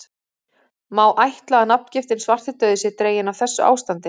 Má ætla að nafngiftin svartidauði sé dregin af þessu ástandi.